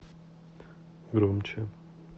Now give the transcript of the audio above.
громче